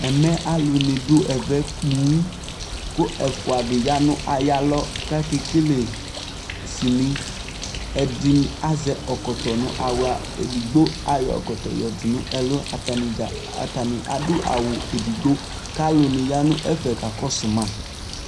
ɛmɛ alo ni do ɛvɛ ponŋ kò ɛfua di ya no ayi alɔ k'ake kele sini ɛdi azɛ ɛkɔtɔ no ala edigbo ayɔ ɛkɔtɔ yɔdo no ɛlu atani dza atani ado awu edigbo k'alò ni ya n'ɛfɛ kakɔsu ma